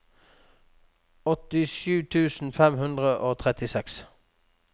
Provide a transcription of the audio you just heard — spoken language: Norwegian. åttisju tusen fem hundre og trettiseks